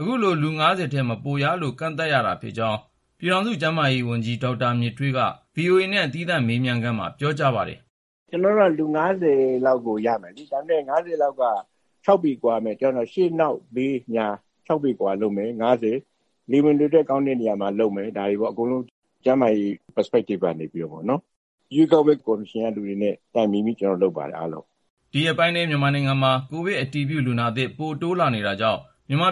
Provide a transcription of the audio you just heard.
အခုလို လူ ၅၀ ထက် မပိုရလို့ ကန့်သတ်ရတာဖြစ်ကြောင်း ပြည်ထောင်စု ကျန်းမာရေးဝန်ကြီး ဒေါက်တာ မြင့်ထွေးက ဗွီအိုအေနဲ့ သီးသန့်မေးမြန်းစဉ်မှာ ပြောကြားပါတယ်။ “ကျနော်ုတိ့က လူ ၅၀ လောက်ကို ရမယ်။ ဒါပေမယ့် ၅၀ လောက်က ခြောက်ပေကွာရမယ်၊ တယောက်နဲ့တယောက်၊ ရှေ့ နောက် ဘေး ညာ၊ လေဝင်လေထွက် ကောင်းတဲ့နေရာမှာ လုပ်မယ်၊ ဒါတွေပေါ့။ အကုန်လုံး ကျန်းမာရေးရှုထောင့်အရပေါ့။ ရွေးကောက်ပွဲ ကော်မရှင်ကလူတွေနဲ့ တိုင်ပင်ပြီး ကျနော်တို့ လုပ်ပါတယ်၊ အားလုံး။” ဒီရက်ပိုင်းထဲ မြန်မာနိုင်ငံမှာ ကိုဗစ်အတည်ပြုလူနာသစ် ပိုပြီး တိုးလာနေတာကြောင့်